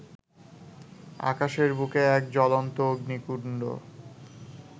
আকাশের বুকে এক জ্বলন্ত অগ্নিকুণ্ড